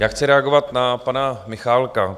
Já chci reagovat na pana Michálka.